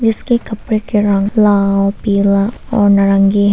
जिसके कपड़े के रंग लाल पीला और नारंगी है।